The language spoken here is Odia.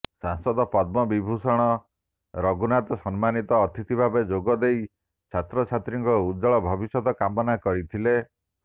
ସାଂସଦ ପଦ୍ମ ବିଭୂଷଣ ରଘୁନାଥ ସମ୍ମାନିତ ଅତିଥି ଭାବେ ଯୋଗଦେଇ ଛାତ୍ରଛାତ୍ରୀଙ୍କ ଉଜ୍ଜ୍ୱଳ ଭବିଷ୍ୟତ କାମନା କରିଥିଲେ